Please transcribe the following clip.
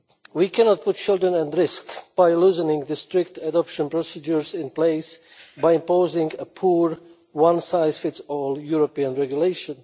We cannot put children at risk by loosening the strict adoption procedures in place, by imposing a poor, one size fits all European regulation.